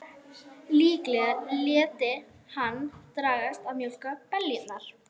Líklega léti hann dragast að mjólka beljurnar.